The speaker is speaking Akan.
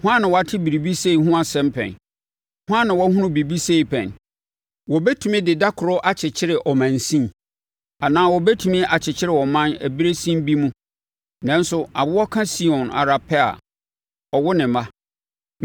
Hwan na wate biribi sei ho asɛm pɛn? Hwan na wahunu biribi sei pɛn? Wɔbɛtumi de da koro akyekyere ɔmansin anaa wɔbɛtumi akyekyere ɔman ɛberɛ sin bi mu? Nanso awoɔ ka Sion ara pɛ a ɔwo ne mma.